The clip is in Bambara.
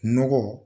Nɔgɔ